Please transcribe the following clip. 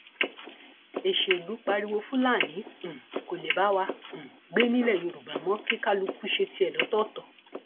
èṣèlú pariwo fúlàní um kó lè bá wa um gbé nílẹ yorùbá mọ kí kálukú ṣe tiẹ lọtọọtọ